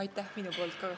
Aitäh!